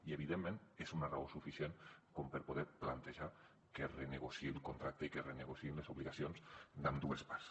i evidentment és una raó suficient com per poder plantejar que es renegociï el contracte i que es renegociïn les obligacions d’ambdues parts